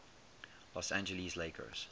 los angeles lakers